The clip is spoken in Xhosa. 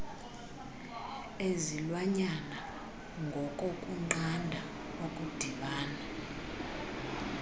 ezilwanyana ngokokunqanda okudibana